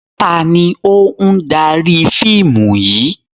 Taàní ó ń dárí fíìmù yìí?